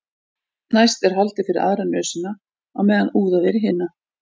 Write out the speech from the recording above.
næst er haldið fyrir aðra nösina á meðan úðað er í hina